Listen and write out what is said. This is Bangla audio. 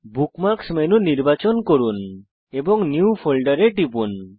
বুকমার্কস মেনু নির্বাচন করুন এবং নিউ ফোল্ডের এ টিপুন